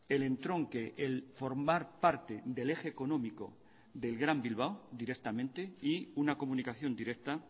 el entronque el formar parte del eje económico del gran bilbao directamente y una comunicación directa